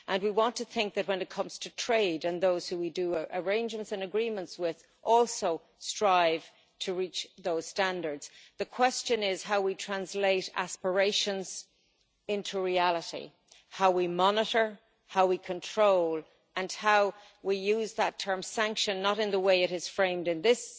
We want to think that, when it comes to trade, those who we make arrangements and agreements with also strive to reach those standards. The question is how we translate aspirations into reality how we monitor, how we control and how we use that term sanction' not in the way it is framed in this